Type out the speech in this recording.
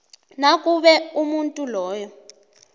nakube umuntu loyo